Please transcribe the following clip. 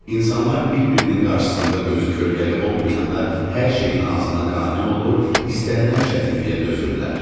İnsanlar bir-birinin qarşısında gözü kölgəli olmayanda hər şeyin azına qane olur, istənilən çətinliyə dözürlər.